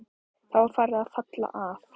Það var farið að falla að.